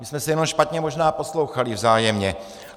My jsme se jenom špatně možná poslouchali vzájemně.